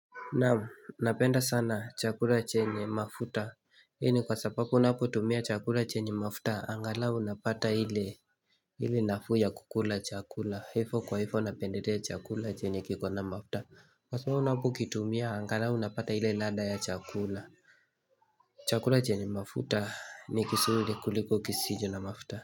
Naam, napenda sana chakula chenye mafuta. Ii ni kwa sababu unapotumia chakula chenye mafuta, angalau unapata hile nafuu ya kukula chakula. Hifo kwa hifo napenderea chakula chenye kiko na mafuta. Kwa sababu unapokitumia, angalau unapata ile lada ya chakula. Chakula chenye mafuta ni kisuri kuliko kisijo na mafuta.